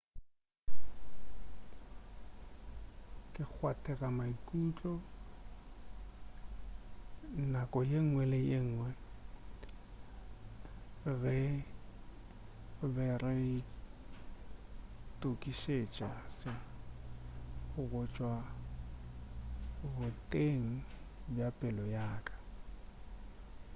ke kgwathega maikutlo nako ye ngwe le ye ngwe ge re be re itokišetša se go tšwa boteng bja pelo yaka